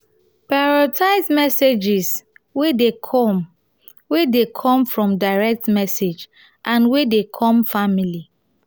prioritize messages wey de come wey de come from direct message and wey dey come family